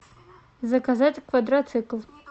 заказать квадроцикл